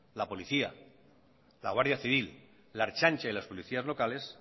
la policía la guardia civil la ertzaintza y las policías locales